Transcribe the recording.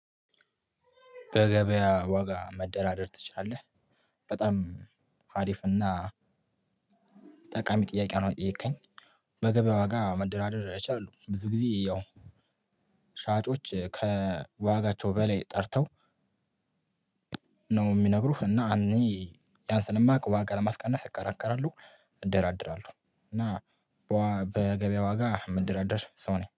በገበያ ዋጋ መደራደር ትችላለህ? በጣም አሪፍና ጠቃሚ ጥያቄ ነው። የጠየከኝ በገበያዋ ጋር መደራደር እችላለሁ። ብዙ ጊዜ ያው ሻጮች ከዋጋቸው በላይ ጠርተው ነው የሚነግሩህ። እና እኔ ያን ስለማውቅ ዋጋ ለማስቀነስ እከራከራለሁ። እደራደራለሁ እና በገበያ ዋጋ ምደራደር ሰው ነኝ